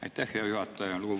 Aitäh, hea juhataja!